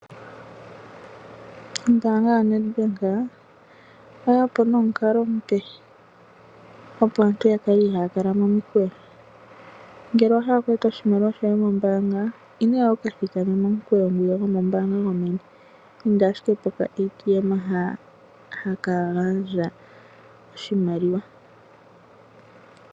Ombanga yoNedbank oye yapo nomukalo omupe opo aantu ya kale ihaaya kala momikweyo. Ngele owa hala oku eta oshimaliwa shoye mombanga inoya wuka thikame momukweyo gwomombanga gomeni. Inda ashike pokaATM ha haka gandja oshimaliwa.